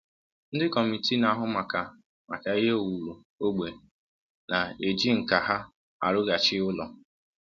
Ndị kọmitii na-ahụ maka maka ihe owuwu ógbè na-eji nkà ha arụghachi ụlọ